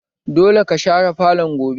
Dole ka share falon gobe!